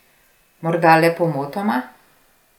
Morda le pomotoma?